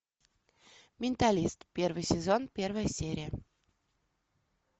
менталист первый сезон первая серия